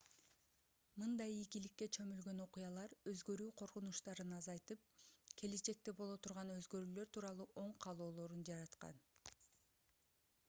мындай ийгиликке чөмүлгөн окуялар өзгөрүү коркунучтарын азайтып келечекте боло турган өзгөрүүлөр тууралуу оң каалоолорун жараткан